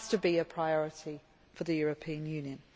It has to be a priority for the European Union.